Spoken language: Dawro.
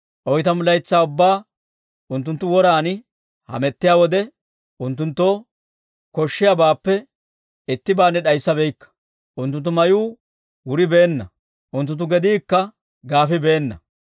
Oytamu laytsaa ubbaa unttunttu woran hamettiyaa wode, unttunttoo koshshiyaabaappe ittibaanne d'ayssabaakka. Unttunttu mayuu wuribeenna; unttunttu gediikka gaafibeena.